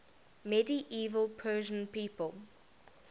medieval persian people